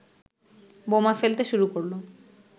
বোমা ফেলতে শুরু করলো।